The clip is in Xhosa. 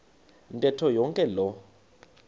ntetho yonke loo